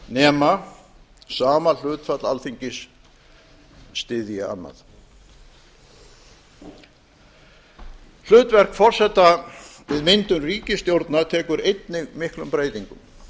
nema sama hlutfall alþingis styðji annað hlutverk forseta við myndun ríkisstjórna tekur einnig miklum breytingum